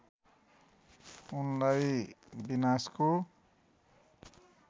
उनलाई विनाशको